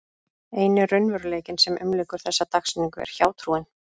Eini raunveruleikinn sem umlykur þessa dagsetningu er hjátrúin.